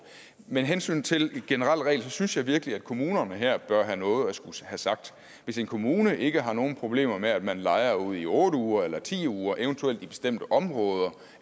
med hensyn til en generel regel synes jeg virkelig at kommunerne her bør have noget at skulle have sagt hvis en kommune ikke har nogen problemer med at man lejer ud i otte uger eller ti uger eventuelt i bestemte områder